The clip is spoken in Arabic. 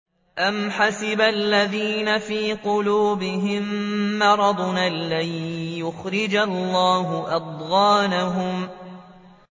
أَمْ حَسِبَ الَّذِينَ فِي قُلُوبِهِم مَّرَضٌ أَن لَّن يُخْرِجَ اللَّهُ أَضْغَانَهُمْ